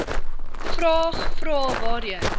vraag vrae waarheen